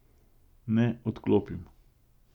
Ne, odklopim.